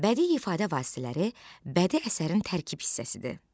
Bədii ifadə vasitələri bədii əsərin tərkib hissəsidir.